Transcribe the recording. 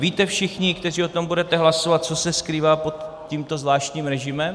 Víte všichni, kteří o tom budete hlasovat, co se skrývá pod tímto zvláštním režimem?